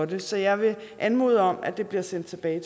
det så jeg vil anmode om at det bliver sendt tilbage